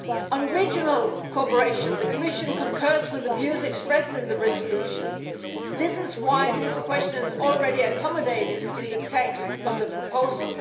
On regional cooperation, the Commission concurs with the views expressed in the resolution. That is why this question is already accommodated in the text of the proposal.